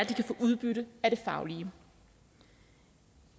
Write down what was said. kan få udbytte af det faglige